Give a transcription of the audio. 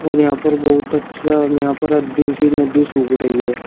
र यहां पर बहुत अच्छा और यहां पर अधि सी नदी सूख रही है।